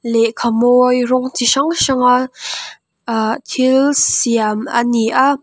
lehkha mawi rawng chi hrang hranga aaa thil siam ani a.